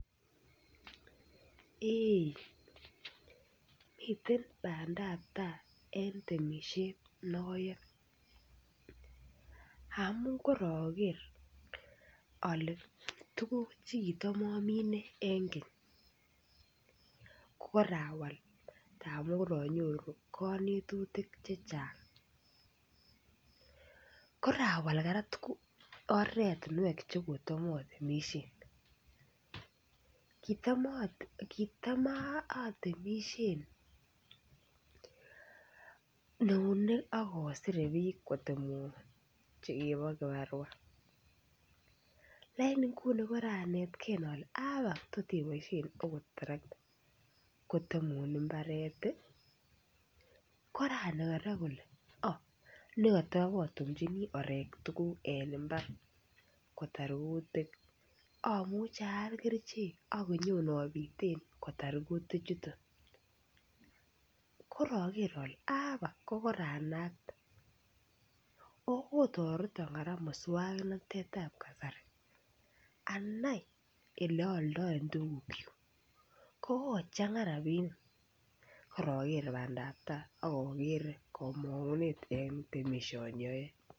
Eei miten bandaptaa en temisiet noyoe amun koroker ole tuguk chekitam omine en keny kokorawal amun koronyoru konetutik chechang korawal kora oratinwek chekotam otemisien kitam atemisien eunek ak osire biik kotemwon chukibo kibarwaa lakini nguni koranetgee ole abak tot iboisien ot terekta kotemun mbaret koranai kora kole nekotobotumjini orek mbar kotar kutik amuche aal kerichek ak anyobiten kotar kutik chuton koroker ole abak koranakte okotoreton muswongnotet ab kasari anai eleoondoen tuguk kyuk ko kochang'a rapinik ak oker bandaptaa ak okere komong'unet en temisioni oyoe